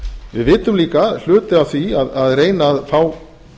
við vitum líka að hluti af því að reyna að fá